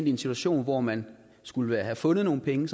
i en situation hvor man skulle have fundet nogle penge